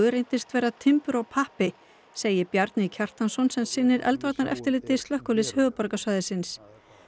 reyndist vera timbur og pappi segir Bjarni Kjartansson sem sinnir eldvarnareftirliti slökkviliðs höfuðborgarsvæðisins